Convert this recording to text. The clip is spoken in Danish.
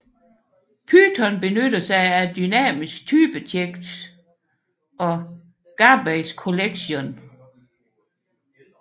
Python benytter sig af dynamisk typetjek og garbage collection